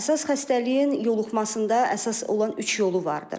Əsas xəstəliyin yoluxmasında əsas olan üç yolu vardır.